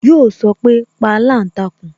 Yo sọpe "pa aláǹtakùn"